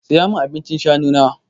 Saya min abincin shanu na!